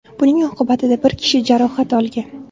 Buning oqibatida bir kishi jarohat olgan.